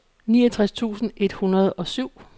niogtres tusind et hundrede og syv